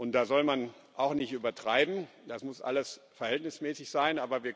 Da soll man auch nicht übertreiben, das muss alles verhältnismäßig sein.